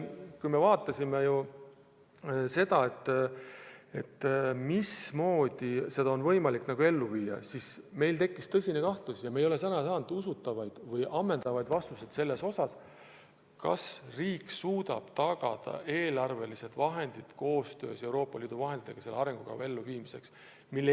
Kui me arutasime, mismoodi seda arengukava on võimalik ellu viia, siis meil tekkis tõsine kahtlus – ja me ei ole sellele saanud usutavaid või ammendavaid vastuseid –, kas riik suudab tagada eelarveraha, et koos Euroopa Liidu vahenditega arengukava ellu viia.